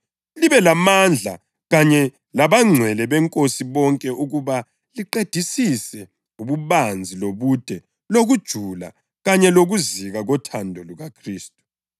libe lamandla kanye labangcwele beNkosi bonke ukuba liqedisise ububanzi lobude lokujula kanye lokuzika kothando lukaKhristu,